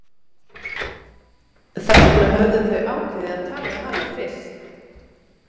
Þess vegna höfðu þau ákveðið að tala við hana fyrst.